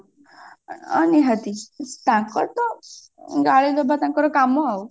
ଅ ନିହାତି ତାଙ୍କର ତ ଗାଳି ଦବା ତାଙ୍କର କାମ ଆଉ